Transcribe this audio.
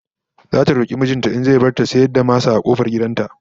Zata roki mijin ta in zai bar ta ta rika sayar da masa a kofar gidan ta